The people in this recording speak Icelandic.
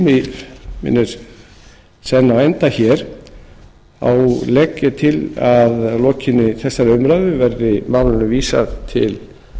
tími minn er senn á enda þá legg ég til að að lokinni þessari umræðu verði málinu vísað til